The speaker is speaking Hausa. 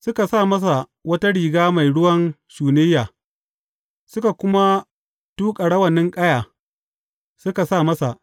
Suka sa masa wata riga mai ruwan shunayya, suka kuma tuƙa rawanin ƙaya suka sa masa.